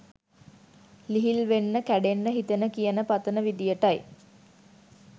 ලිහිල්වෙන්න කැඩෙන්න හිතෙන කියන පතන විදිහට යි.